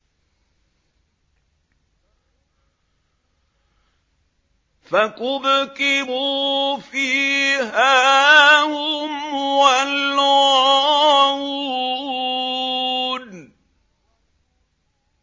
فَكُبْكِبُوا فِيهَا هُمْ وَالْغَاوُونَ